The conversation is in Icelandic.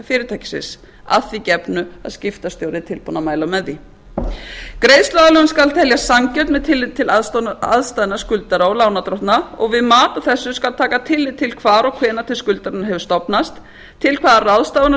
fyrirtækisins að því gefnu að skiptastjóri sé tilbúinn að mæla með því greiðsluaðlögun skal teljast sanngjörn með tilliti til aðstæðna skuldara og lánardrottna og við mat á þessu skal taka tillit til hvar og hvenær til skuldanna hefur stofnast til hvaða ráðstafana